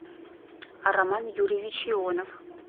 роман юрьевич ионов